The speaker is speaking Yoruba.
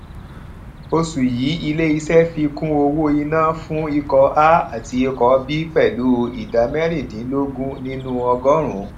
osù yìí ilé iṣẹ fi kún owó iná fún ikọ a àti ikọ b pẹlu ìdá merindinlogun nínú ọgọọrún